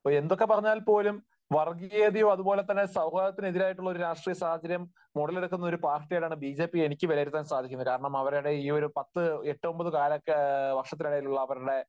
എന്തൊക്കെപ്പറഞ്ഞാലും വർഗീയതയും അതുപോലെതന്നെ സൗഹാർദത്തിനെതിരായിട്ടുള്ള ഒരു രാഷ്ട്രീയ സാഹചര്യം ഉടലെടുക്കുന്ന ഒരു പാർട്ടി ആയിട്ടാണ് ബിജെപിയെ എനിക്ക് വിലയിരുത്താൻ സാധിക്കുന്നത്. കാരണം അവരുടെ ഈ ഒരു പത്ത്, എട്ടൊമ്പത് വർഷത്തിലായുള്ള അവരുടെ